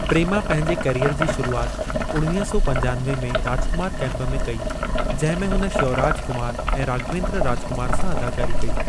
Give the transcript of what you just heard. प्रेमा पंहिंजे कैरीयर जी शुरूआति उणवीह सौ पंजानवे में राजकुमारु कैंप में कई जंहिं में हुन श्यौराज कुमार ऐं राघवेन्द्र राजकुमार सां अदाकारी कई।